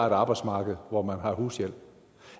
et arbejdsmarked hvor man har hushjælp